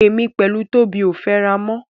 Èmi pẹ̀lú Tóbi ò fẹ́ra mọ́.